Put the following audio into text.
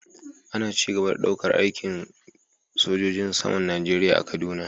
Ana ci gaba da daukar aikin daukar sojojin saman Najeriya a kaduna